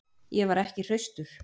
Ég var ekki hraustur.